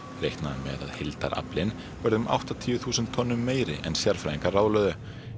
reiknað er með að heildaraflinn verði um áttatíu þúsund tonnum meiri en sérfræðingar ráðlögðu